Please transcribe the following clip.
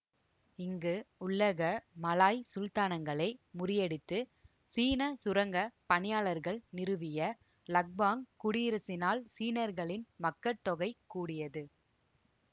இங்கு உள்ளக மலாய் சுல்தானகங்களை முறியடித்து சீன சுரங்க பணியாளர்கள் நிறுவிய இலஃபாங் குடியரசினால் சீனர்களின் மக்கட்தொகை கூடியது